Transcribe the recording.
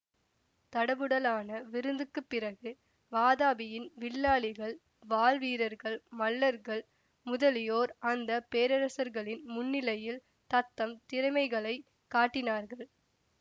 தடபுடலான விருந்துக்குப் பிறகு வாதாபியின் வில்லாளிகள் வாள் வீரர்கள் மல்லர்கள் முதலியோர் அந்த பேரரசர்களின் முன்னிலையில் தத்தம் திறமைகளைக் காட்டினார்கள்